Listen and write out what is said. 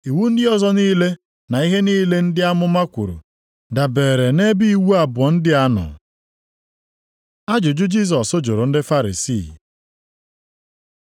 Iwu ndị ọzọ niile na ihe niile ndị amụma kwuru dabeere nʼebe iwu abụọ ndị a nọ.” Ajụjụ Jisọs jụrụ ndị Farisii